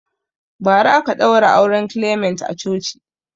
Bara aka ɗaura auren clement a coci